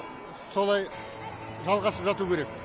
солай жалғасып жату керек